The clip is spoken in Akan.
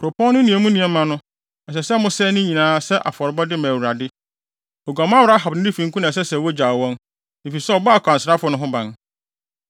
Kuropɔn no ne emu nneɛma no, ɛsɛ sɛ mosɛe ne nyinaa sɛ afɔrebɔde ma Awurade. Oguamanfo Rahab ne ne fifo nko na ɛsɛ sɛ wogyaw wɔn, efisɛ ɔbɔɔ akwansrafo no ho ban.